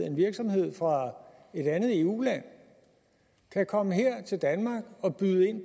en virksomhed fra et andet eu land kan komme her til danmark og byde ind